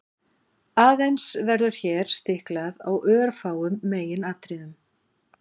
aðeins verður hér stiklað á örfáum meginatriðum